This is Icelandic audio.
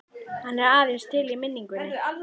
Hann er aðeins til í minningunni.